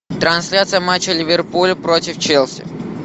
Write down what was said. трансляция матча ливерпуль против челси